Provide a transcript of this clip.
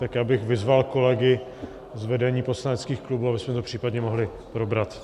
Tak já bych vyzval kolegy z vedení poslaneckých klubů, abychom to případně mohli probrat.